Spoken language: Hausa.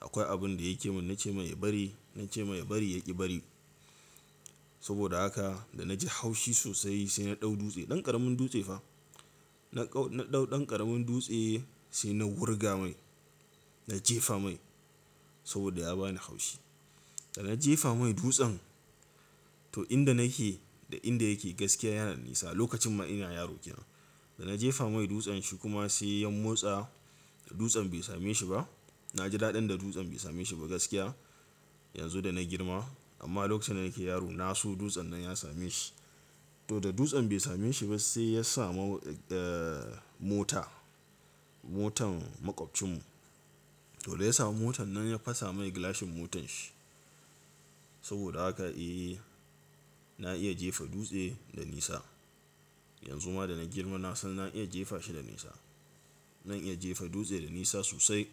Akwai abin da ya ke mun nace mai bari, nace mai bari ya ki bari. Saboda haka da na ji haushi sosai sai na ɗau dutse, ɗan ƙaramin dutse fa. Na ɗau na ɗau ɗan ƙaramin dutse sai na wurga mai, na jefa mai saboda ya bani haushi. Da na jefa mai dutsen to inda nake da inda yake gaskiya yana nisa. Lokacin ma ina yaro ke nan. Da na jefa mai dutsen shi kuma sai ya motsa da dutsen bai same shi ba. Na ji daɗin da dutsen bai same shi ba gaskiya yanzu da na girma. Amma lokacin da nake yaro na so dutsen nan ya same shi. To da dutsen bai same shi ba sai ya samu mota, motan maƙwabcin mu. To da ya samu motan nan ya fasa mani gilashin motanshi. Saboda haka eh na iya jefa dutse da nisa. Yanzu ma da na girma na san na iya jefa shi da nisa. Na iya jefa dutse da nisa sosai.